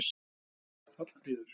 Hallfríður